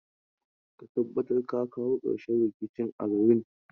Ka tabbata ka kawo ƙarshen rikicin a garin.